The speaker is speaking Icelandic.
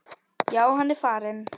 Já, hann er farinn